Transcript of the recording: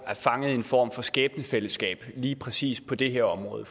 er fanget i en form for skæbnefællesskab på lige præcis det her område